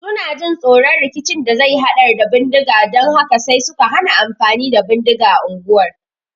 Suna jin tsoron rikicin da zai hadar da bindiga dan haka sai suka hana amfani da bindiga unguwar